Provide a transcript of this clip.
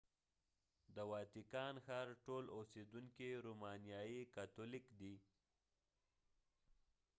د واتیکان ښار ټول اوسیدونکي رومانیایی کاتولیک دي